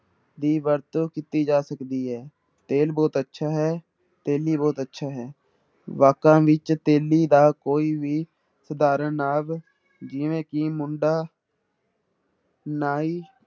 ਦੀ ਵਰਤੋਂ ਕੀਤੀ ਜਾ ਸਕਦੀ ਹੈ ਤੇਲ ਬਹੁਤ ਅੱਛਾ ਹੈ, ਤੇਲੀ ਬਹੁਤ ਅੱਛਾ ਹੈ, ਵਾਕਾਂ ਵਿੱਚ ਤੇਲੀ ਦਾ ਕੋਈ ਵੀ ਸਧਾਰਨ ਨਾਵ ਜਿਵੇਂ ਕਿ ਮੁੰਡਾ ਨਾਈ